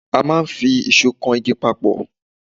A máà ń fi ìsó kan igi papọ̀